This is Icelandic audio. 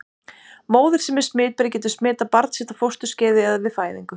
Móðir sem er smitberi getur smitað barn sitt á fósturskeiði eða við fæðingu.